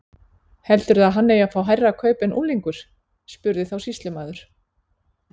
Heldurðu að hann eigi að fá hærra kaup en unglingur? spurði þá sýslumaður.